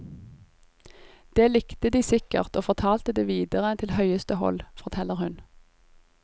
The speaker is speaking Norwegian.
Det likte de sikkert og fortalte det videre til høyeste hold, forteller hun.